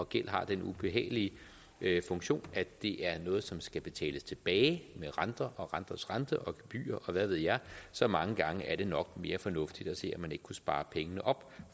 gæld har den ubehagelige funktion at det er noget som skal betales tilbage med renter og renters rente og gebyrer og hvad ved jeg så mange gange er det nok mere fornuftigt at se om man ikke kunne spare pengene op